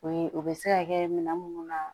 O ye o be se ka kɛ minɛn munnu na